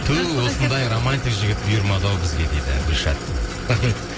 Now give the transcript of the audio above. ту осындай романтик жігіт бұйырмады ау бізге деді гүлшат рахмет